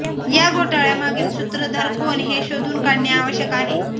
या घोटाळ्यामागील सुत्रधार कोण हे शोधून काढणे आवश्यक आहे